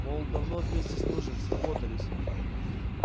мол давно вместе служим сработались